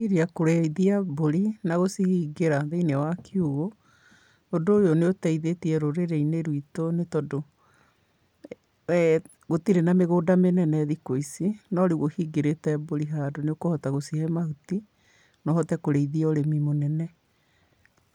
Iria kũrĩithia mbũri, na gũcihingĩra thĩ-ini wa kiugũ, ũndũ ũyũ nĩ ũteithĩtie rũrĩrĩ-inĩ rwitu, nĩ tondũ, gũtirĩ na mĩgũnda mĩnene thikũ ici, no rĩu ũhingĩrĩte mbũri handũ, nĩũkũhota gũcihe mahuti, no ũhote kũrĩithia ũrĩmi mũnene.